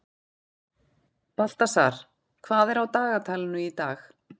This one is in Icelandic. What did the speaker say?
Baltasar, hvað er á dagatalinu í dag?